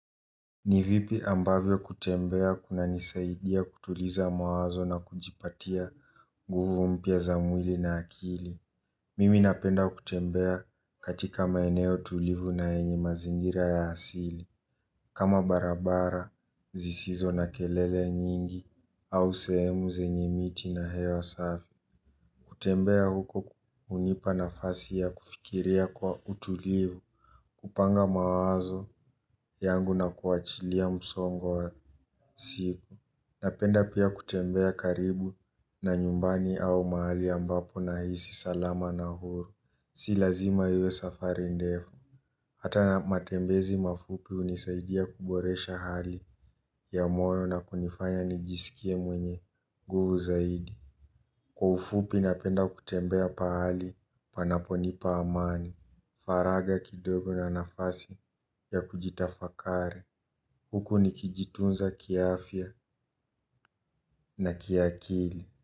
Ni vipi ambavyo kutembea kunanisaidia kutuliza mawazo na kujipatia nguvu mpya za mwili na akili. Mimi napenda kutembea katika maeneo tulivu na yenye mazingira ya asili kama barabara zisizo na kelele nyingi au sehemu zenye miti na hewa safi. Kutembea huko hunipa nafasi ya kufikiria kwa utulivu. Kupanga mawazo yangu na kuachilia msongo wa siku. Napenda pia kutembea karibu na nyumbani au mahali ambapo nahisi salama na huru. Si lazima iwe safari ndefu. Hata na matembezi mafupi hunisaidia kuboresha hali ya moyo na kunifanya nijisikie mwenye nguvu zaidi. Kwa ufupi napenda kutembea pahali panaponipa amani. Faragha kidogo na nafasi ya kujitafakari. Huku nikijitunza kiafya na kiakili.